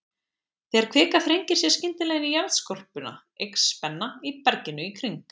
Þegar kvika þrengir sér skyndilega inn í jarðskorpuna, eykst spenna í berginu í kring.